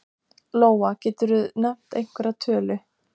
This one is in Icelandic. Lóa: Geturðu nefnt einhverja tölu?